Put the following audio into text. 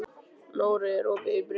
Nóri, er opið í Brynju?